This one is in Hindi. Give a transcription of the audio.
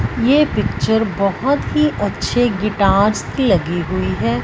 ये पिक्चर बहुत ही अच्छे गिटारस की लगी हुई है।